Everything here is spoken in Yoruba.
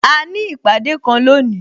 A ní ìpàdé kan lónìí